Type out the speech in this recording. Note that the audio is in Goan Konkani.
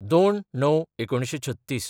०२/०९/३६